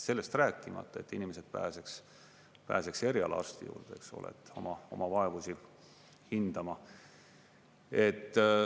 Sellest rääkimata, et inimesed pääseks erialaarsti juurde oma vaevusi hindama.